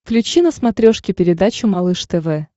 включи на смотрешке передачу малыш тв